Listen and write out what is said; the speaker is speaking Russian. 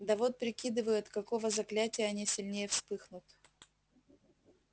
да вот прикидываю от какого заклятия они сильнее вспыхнут